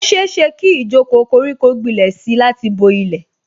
Ó ṣeéṣe kí ijoko koriko gbilẹ̀ si láti bo ilẹ̀